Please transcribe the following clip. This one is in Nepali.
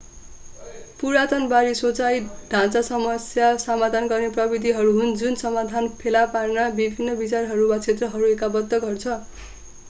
पुरातनबादी सोचाइ ढाँचा समस्या समाधान गर्ने प्रविधिहरू हुन् जुन समाधान फेला पार्न विभिन्न विचारहरू वा क्षेत्रहरूलाई एकताबद्ध गर्छ